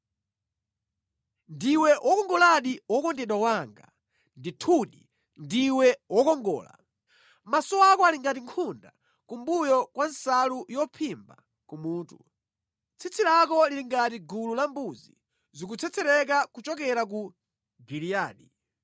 Ndiwe wokongoladi wokondedwa wanga! Ndithudi, ndiwe wokongola! Maso ako ali ngati nkhunda kumbuyo kwa nsalu yophimba kumutu. Tsitsi lako lili ngati gulu la mbuzi zikutsetsereka kuchokera ku Giliyadi.